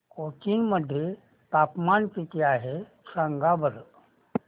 कोचीन मध्ये तापमान किती आहे सांगा बरं